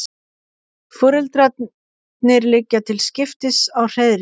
Foreldrarnir liggja til skiptis á hreiðri.